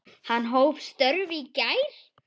Hann hóf störf í gær.